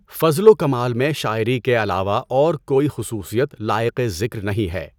فضل و کمال میں شاعری کے علاوہ اور کوئی خصوصیت لائق ذکر نہیں ہے۔